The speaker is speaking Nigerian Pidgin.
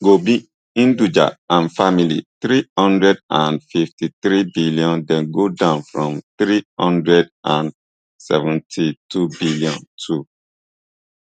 gopi hinduja and family three hundred and fifty-three billion dem go down from three hundred and seventy-two billion too